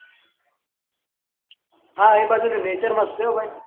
હા એ બાજુ નો nature મસ્ત છે એ ભાઈ